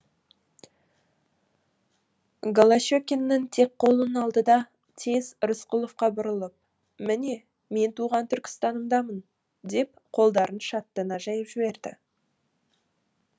голощекиннің тек қолын алды да тез рысқұловқа бұрылып міне мен туған түркістанымдамын деп қолдарын шаттана жайып жіберді